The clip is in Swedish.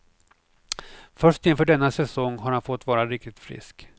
Först inför denna säsong har han fått vara riktigt frisk.